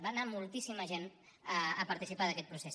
va anar moltíssima gent a participar d’aquest procés